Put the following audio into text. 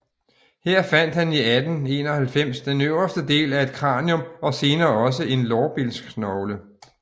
Her fandt han i 1891 den øverste del af et kranium og senere også en lårbensknogle